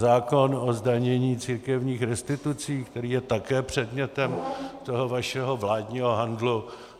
Zákon o zdanění církevních restitucí, který je také předmětem toho vašeho vládního handlu.